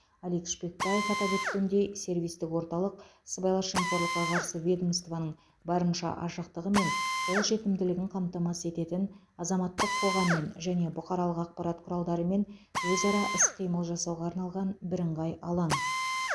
алик шпекбаев атап өткендей сервистік орталық сыбайлас жемқорлыққа қарсы ведомстваның барынша ашықтығы мен қолжетімділігін қамтамасыз ететін азаматтық қоғаммен және бұқаралық ақпарат құралдарымен өзара іс қимыл жасауға арналған бірыңғай алаң